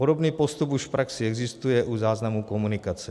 Podobný postup už v praxi existuje u záznamu komunikace.